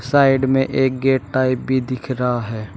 Side में एक gate type भी दिख रहा है।